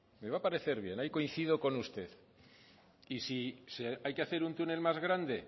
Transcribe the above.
ahí coincido con usted y si hay que hacer un túnel más grande